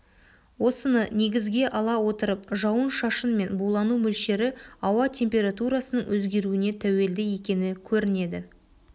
осыны негізге ала отырып жауын шашын мен булану мөлшері ауа температурасының өзгеруіне тәуелді екені көрінеді